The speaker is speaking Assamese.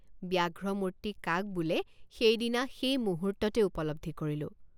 ব্যাঘ্ৰমূৰ্তি কাক বোলে সেইদিনা সেই মুহূৰ্ততেই উপলব্ধি কৰিলোঁ।